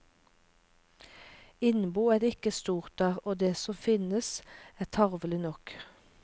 Innbo er det ikke stort av, og det som finnes, er tarvelig nok.